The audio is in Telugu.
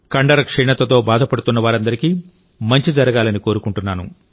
కండర క్షీణతతో బాధపడుతున్నవారందరికీమంచి జరగాలని కోరుకుంటున్నాను